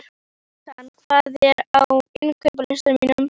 Jónatan, hvað er á innkaupalistanum mínum?